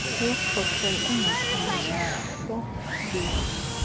yokhokelo engakumbi zihlobene